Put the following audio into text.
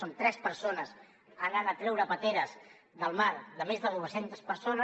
són tres persones anant a treure pasteres del mar de més de dues centes persones